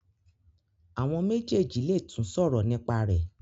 Awọn méjèjì lè tún sòrò nípa rẹ.